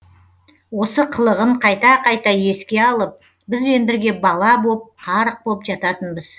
осы қылығын қайта қайта еске алып бізбен бірге бала боп қарық боп жататынбыз